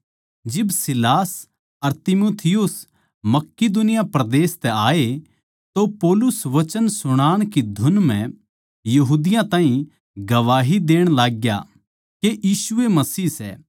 जिब सीलास अर तीमुथियुस मकिदुनिया परदेस तै आये तो पौलुस वचन सुणाण की धुन म्ह यहूदियाँ ताहीं गवाही देण लाग्या के यीशु ए मसीह सै